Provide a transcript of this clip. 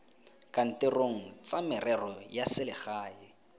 kantorong tsa merero ya selegae